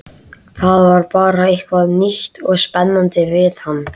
Það var bara eitthvað nýtt og spennandi við hann.